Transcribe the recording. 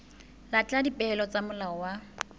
latela dipehelo tsa molao wa